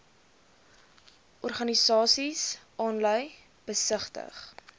organisasies aanlyn besigtig